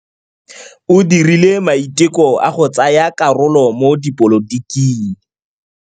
O dirile maitekô a go tsaya karolo mo dipolotiking.